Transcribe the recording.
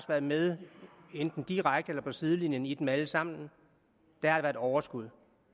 været med enten direkte eller på sidelinjen i dem alle sammen er der et overskud